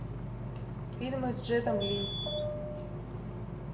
фильмы с джетом ли